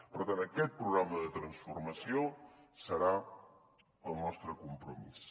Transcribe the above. per tant aquest programa de transformació serà el nostre compromís